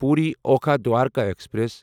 Puri Okha Dwarka express